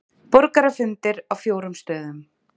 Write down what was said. Borgarafundir á fjórum stöðum